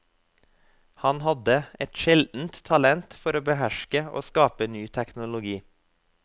Han hadde et sjeldent talent for å beherske og skape ny teknologi.